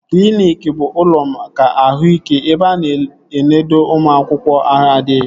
Kliniki bụ ụlọ maka ahụ ike ebe a na-enodo ụmụ akwụkwọ ahụ adịghị